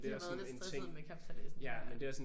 De har været lidt stressede med kapsejladsen nu her